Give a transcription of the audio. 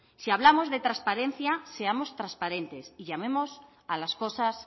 si hablamos de transparencia seamos transparentes y llamemos a las cosas